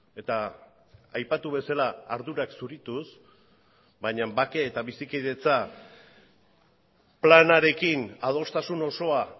eta aipatu bezala ardurak zurituz baina bake eta bizikidetza planarekin adostasun osoa